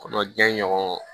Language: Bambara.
Kɔnɔjan ɲɔgɔn